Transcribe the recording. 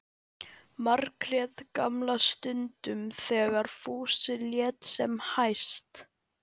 Margrét gamla stundum þegar Fúsi lét sem hæst.